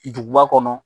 Duguba kɔnɔ